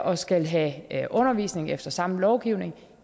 og skal have undervisning efter samme lovgivning